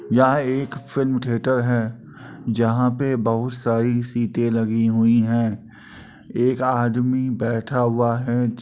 यह एक film theatre है जहाँ पे बहुत सारी सीटें लगी हुई हैं। एक आदमी बैठा हुआ है। जो --